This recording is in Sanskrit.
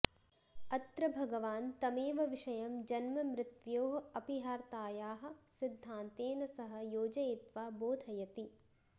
अत्र भगवान् तमेव विषयं जन्ममृत्य्वोः अपिहार्तायाः सिद्धान्तेन सह योजयित्वा बोधयति